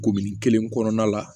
kelen kɔnɔna la